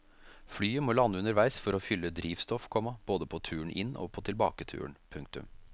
Flyet må lande underveis for å fylle drivstoff, komma både på turen inn og på tilbaketuren. punktum